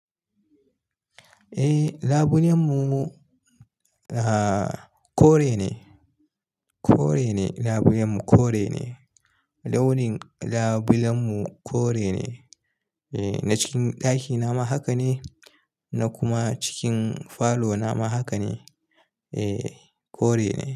Eh, labulen mu kore ne, kore ne labulen mu kore ne. Launin labulen mu kore ne. Na cikin ɗakina ma haka ne, na kuma cikin falo na ma haka ne. E, kore ne.